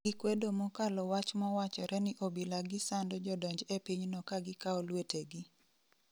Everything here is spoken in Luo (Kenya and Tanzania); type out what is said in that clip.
Gikwedo mokalo wach mowachore ni obila gi sando jodonj e piny no ka gikao lwetegi